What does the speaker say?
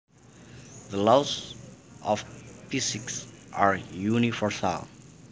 The laws of physics are universal